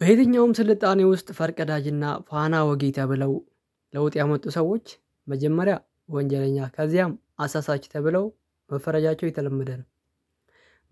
በየትኛውም ስልጣኔ ውስጥ ፈርቀዳጅና ፋና ወጊ ተብለው ለውጥ ያመጡ ሰዎች መጀመሪያ ወንጀለኛ ከዚያም አሳሳች ተብለው መፈረጃቸው የተለመደ ነው።